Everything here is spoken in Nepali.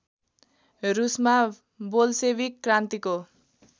रूसमा बोल्सेविक क्रान्तिको